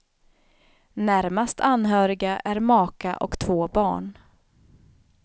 Närmast anhöriga är maka och två barn.